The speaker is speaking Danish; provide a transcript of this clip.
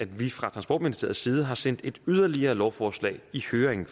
vi fra transportministeriet side sendt yderligere et lovforslag i høring